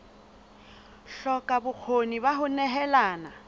hloka bokgoni ba ho nehelana